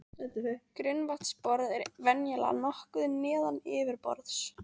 Grunnvatnsborð er venjulega nokkuð neðan yfirborðs.